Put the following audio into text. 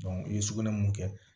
i ye sugunɛ mun kɛ